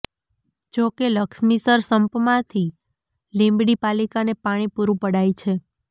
જોકે લક્ષ્મીસર સંપમાંથી લીંબડી પાલિકાને પાણી પુરુ પડાય છે